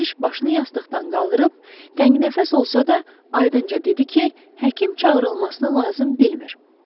Keşiş başını yastıqdan qaldırıb, təngnəfəs olsa da, aydınca dedi ki, həkim çağırılmasını lazım bilmir.